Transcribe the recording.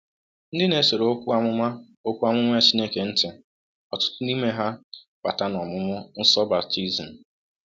Ndị na-esoro Okwu Amụma Okwu Amụma Chineke ntị ọtụtụ n’ime ha bata n’ọmụmụ nsọ baptizim.